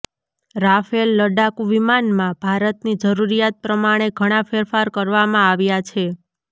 Rafale લડાકૂ વિમાનમાં ભારતની જરૂરીયાત પ્રમાણે ઘણા ફેરફાર કરવામાં આવ્યા છે